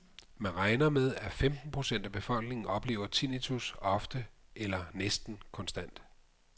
Man regner med, at femten procent af befolkningen oplever tinnitus ofte eller næsten konstant.